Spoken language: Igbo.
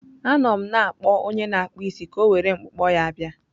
Anọ m na-akpọ onye na-akpụ isi ka o were mkpụkpọ ya bịa.